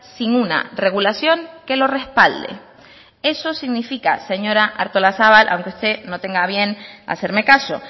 sin una regulación que lo respalde eso significa señora artolazabal aunque usted no tenga a bien hacerme caso